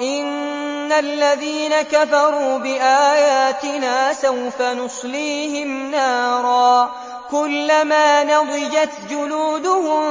إِنَّ الَّذِينَ كَفَرُوا بِآيَاتِنَا سَوْفَ نُصْلِيهِمْ نَارًا كُلَّمَا نَضِجَتْ جُلُودُهُم